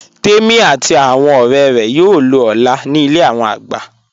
Tèmi àti awọn ọ̀rẹ̀ rẹ̀ yóò lọ̀ ọ́lá ní ilẹ̀ awọn àgbà